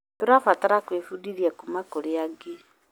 Tũrabatara gwĩbundithia kuuma kũrĩ angĩ.